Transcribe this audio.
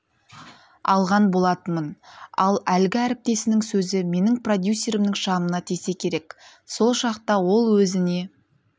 алған болатынмын ал әлгі әріптесінің сөзі менің продюсерімнің шамына тисе керек сол шақта ол өзіне